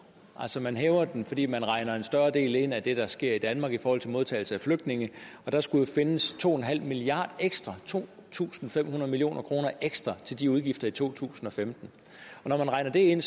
altså man hæver den fordi man regner en større del ind af det der sker i danmark i forhold til modtagelse af flygtninge og der skulle findes to milliard ekstra to tusind fem hundrede million kroner ekstra til de udgifter i to tusind og femten når man regner det ind